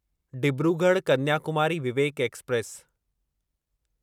Dibrugarh Kanyakumari Vivek express